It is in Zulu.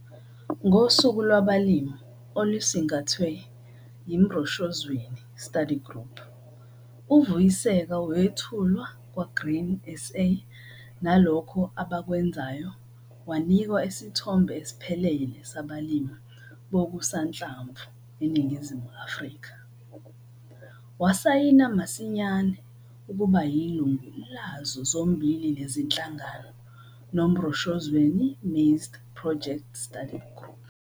Ngosuku lwabalimi olusingathwe yiMroshozweni Study Group, uVuyiseka wethulwa KwaGrain SA nalokho abakwenzayo wanikwa isithombe esiphelele sabalimi bokusanhlamvu eNingizimu Afrika. Wasayina masinyane ukuba yilungu lazo zombili lezi zinhlangano noMroshozweni Maize Project Study Group.